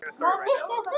Vantar líka efnið í það.